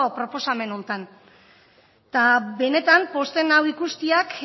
proposamen hontan eta benetan pozten nau ikusteak